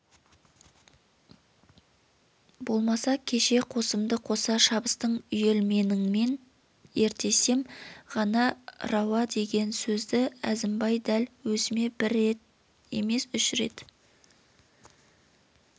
болмаса кеше қосымды қоса шабыстың үйелменіңмен өртесем ғана рауа деген сөзді әзімбай дәл әзіме бір емес үш рет